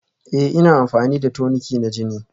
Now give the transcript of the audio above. Ee ina amfani da toniki na jini